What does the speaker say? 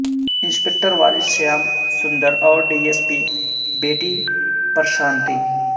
inspector والد شیام سندر اور D S P بیٹی پرشانتی